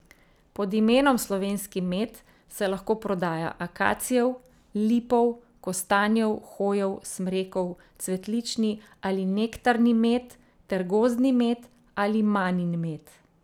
Pod imenom slovenski med se lahko prodaja akacijev, lipov, kostanjev, hojev, smrekov, cvetlični ali nektarni med ter gozdni med ali manin med.